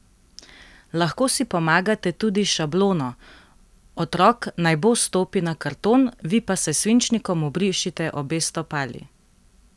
Lahko si pomagate tudi s šablono: "Otrok naj bos stopi na karton, vi pa s svinčnikom obrišite obe stopali.